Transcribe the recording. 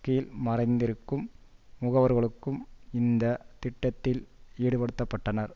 கீழ் மறைந்திருக்கும் முகவர்களும் இந்த திட்டத்தில் ஈடுபடுத்த பட்டனர்